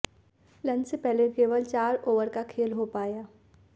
lunch से पहले केवल चार ओवर का खेल हो पाया